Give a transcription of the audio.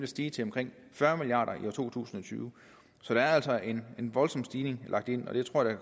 stige til omkring fyrre milliard kroner i år to tusind og tyve så der er altså en voldsom stigning lagt ind og det tror jeg